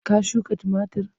Ka shuka tumatir?